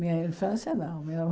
Minha infância, não. Meu